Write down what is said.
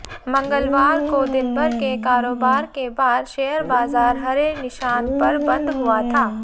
मंगलवार को दिनभर के कारोबार के बाद शेयर बाजार हरे निशान पर बंद हुआ था